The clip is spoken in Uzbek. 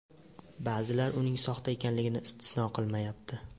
Ba’zilar uning soxta ekanligini istisno qilmayapti.